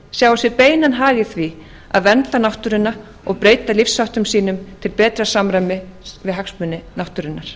sjái sér beinan hag í því að vernda náttúruna og breyta lífsháttum sínum til betra samræmis við hagsmuni náttúrunnar